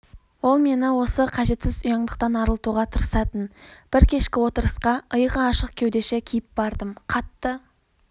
ол мені осы қажетсіз ұяңдықтан арылтуға тырысатын бір кешкі отырысқаиығы ашық кеудеше киіп бардым қатты